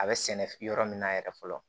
A bɛ sɛnɛ yɔrɔ min na yɛrɛ fɔlɔ